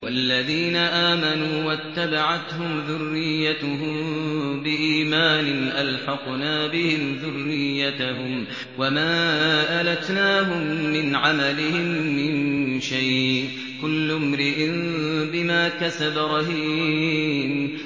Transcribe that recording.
وَالَّذِينَ آمَنُوا وَاتَّبَعَتْهُمْ ذُرِّيَّتُهُم بِإِيمَانٍ أَلْحَقْنَا بِهِمْ ذُرِّيَّتَهُمْ وَمَا أَلَتْنَاهُم مِّنْ عَمَلِهِم مِّن شَيْءٍ ۚ كُلُّ امْرِئٍ بِمَا كَسَبَ رَهِينٌ